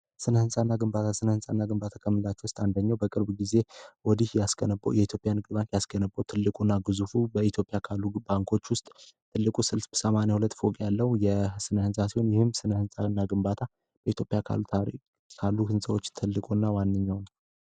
ስነህንፃእና ግንባታ ስነ ህንፃ እና ግንባታ ከምላቸው ውስጥ አንደኘው በቅርቡ ጊዜ ወዲህ ያስገንበው የኢትዮፒያ ንግር ባንክ ያስገንበው ትልቁ እና ጉዙፉ በኢትዮጵያ ካሉ ባንኮች ውስጥ ትልቁ 6 80ሁለት ፎግ ያለው የ ስነህንፃ ሲሆን ይህም ስነ ሕንፃና ግንባታ በኢትዮጵያ ሪ ካሉ ሕንሰዎች ትልቁ እና ዋንኘው ነው